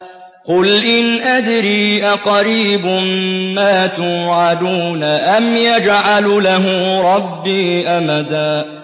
قُلْ إِنْ أَدْرِي أَقَرِيبٌ مَّا تُوعَدُونَ أَمْ يَجْعَلُ لَهُ رَبِّي أَمَدًا